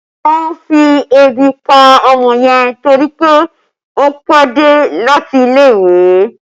Wọn ti fi ebi pa ọmọ yẹn torí pé ó pẹ́ dé láti ilé ìwé